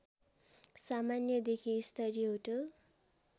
सामान्यदेखि स्तरीय होटल